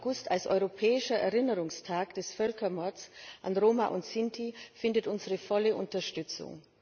2. August als Europäischer Erinnerungstag des Völkermords an Roma und Sinti findet unsere volle Unterstützung.